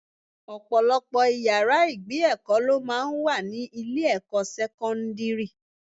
Ọ̀pọ̀lọpọ̀ ìyára ìgbé èkó lọ máa ń wà ní ilé ẹ̀kọ́ sẹ́kọ́ńdírì.